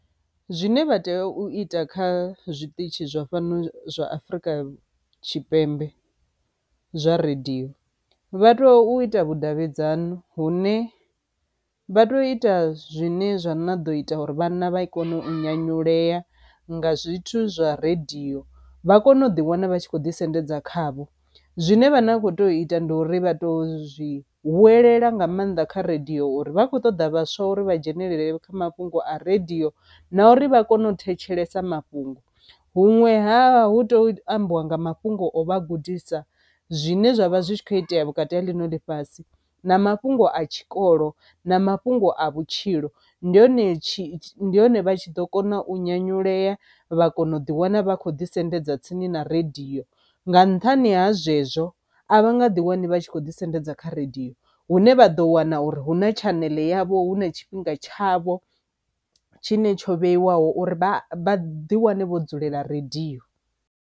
Zwine vha tea u ita kha zwiṱitshi zwa fhano zwa Afrika Tshipembe zwa radio vha to ita vhudavhidzano hune vha to ita zwine zwa na ḓo ita uri vhana vha kone u nyanyulea nga zwithu zwa radio vha kone u ḓi wana vha tshi kho ḓisendedza khavho. Zwine vha na akho to ita ndi uri vha to zwi huwelela nga maanḓa kha radio uri vha khou ṱoḓa vhaswa uri vha dzhenelele kha mafhungo a redio na uri vha kone u thetshelesa mafhungo, huṅwe ha hu tea u ambiwa nga mafhungo o vha a gudisa zwine zwavha zwi tshi kho itea vhukati ha ḽino ḽifhasi na mafhungo a tshikolo na mafhungo a vhutshilo ndi hone tshi ndi hone vha tshi ḓo kona u nyanyulea vha kona u ḓi wana vha khou ḓisendedza tsini na radio. Nga nṱhani ha zwezwo a vha nga ḓi wane vha tshi kho ḓisendedza kha radio hune vha ḓo wana uri hu na channel yavho hu na tshifhinga tshavho tshi ne tsho vheiwaho uri vhaḓi wane vho dzulela radio.